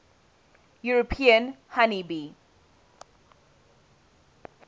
european honey bee